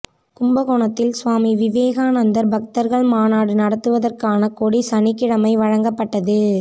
கும்பகோணத்தில் சுவாமி விவேகானந்தா் பக்தா்கள் மாநாடு நடத்துவதற்கான கொடி சனிக்கிழமை வழங்கப்பட்டது